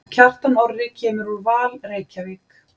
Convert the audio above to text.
Kjartan Orri kemur úr Val Reykjavík.